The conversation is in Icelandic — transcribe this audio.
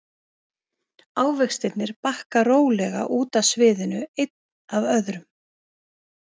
Ávextirnir bakka rólega út af sviðinu einn af öðrum.